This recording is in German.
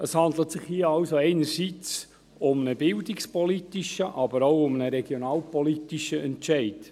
Es handelt sich hier also einerseits um einen bildungspolitischen, andererseits aber auch um einen regionalpolitischen Entscheid.